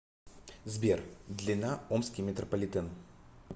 сбер длина омский метрополитен